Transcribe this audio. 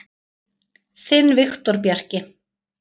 Þinn Viktor Bjarki.